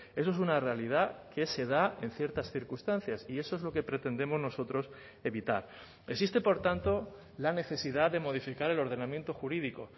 eso es una realidad que se da en ciertas circunstancias y eso es lo que pretendemos nosotros evitar existe por tanto la necesidad de modificar el ordenamiento jurídico